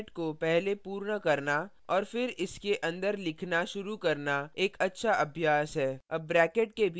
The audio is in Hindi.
हमेशा brackets को पहले पूर्ण करना और फिर इसके अंदर लिखना शुरू करना एक अच्छा अभ्यास है